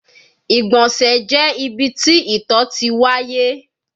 Igbọnsẹ jẹ ibi ti ito ti waye